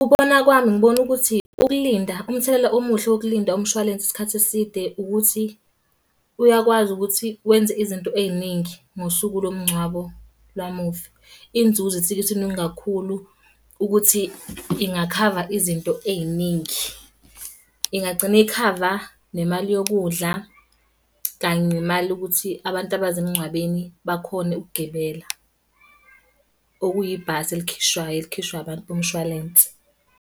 Ukubona kwami ngibona ukuthi, ukulinda, umthelela omuhle wokulinda umshwalense isikhathi eside ukuthi, uyakwazi ukuthi wenze izinto ey'ningi ngosuku lo mngcwabo la mufi. Iy'nzuzo isuke isiningi kakhulu ukuthi ingakhava izinto ey'ningi. Ingagcina ikhava nemali yokudla, kanye nemali yokuthi abantu abaze emngcwabeni bakhone ukugibela. Okuyibhasi elikhishwayo, elikhishwa abantu bomshwalensi.